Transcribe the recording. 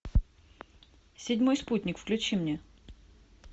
седьмой спутник включи мне